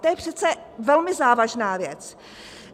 To je přece velmi závažná věc.